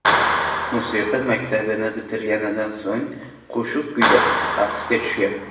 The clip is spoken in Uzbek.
Musiqa maktabini bitirganidan so‘ng qo‘shiq kuylab, raqsga tushgan.